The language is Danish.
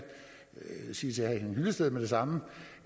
sige til herre henning hyllested med det samme